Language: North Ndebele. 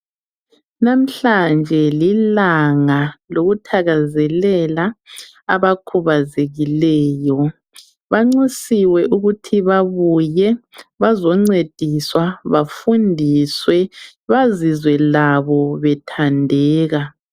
Namhlanje lilanga lokuthakazelela abakhubazekileyo .Banxusiwe ukuthi babuye bazoncediswa bafundiswe bazizwe labo bethandeka.